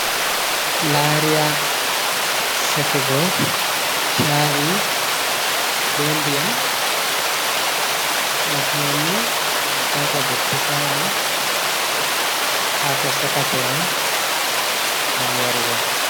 Lariya sekugo cha'i be ndiyam, nafumanni ngam tata dottisala haa kosakate man ngam yarugo.